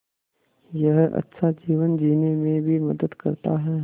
यह अच्छा जीवन जीने में भी मदद करता है